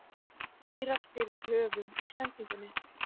eirar fyrir höfum í sendingunni